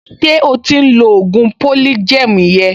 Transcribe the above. Ṣé o ti ń lo ògùn polygem yẹn?